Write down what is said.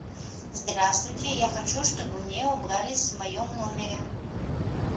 здравствуйте я хочу чтобы мне убрались в моем номере